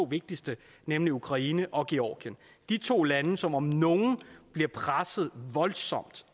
vigtigste nemlig ukraine og georgien de to lande som om nogen bliver presset voldsomt